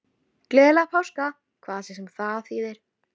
Gleðilega páska, hvað svo sem það þýðir.